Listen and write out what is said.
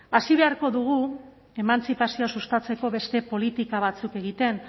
hasi beharko dugu emantzipazioa sustatzeko beste politika batzuk egiten